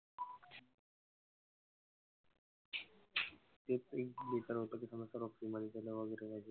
जे सर्व होत ते सर्व free मध्ये देल वगैरे I think.